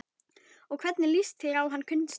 Og hvernig líst þér á hann Gunnsteinn?